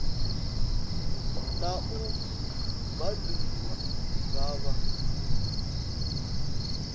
na u baindiwa nga vha